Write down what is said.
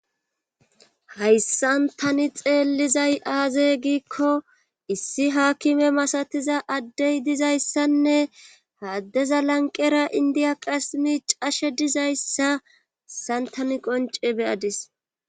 hayssan tani xeellizay aaze giikko issi haakime masatiza addey dizayssanne ha addeza lanqera indiya qassi miicashe dizayssa hayssan tani qonce be7adis.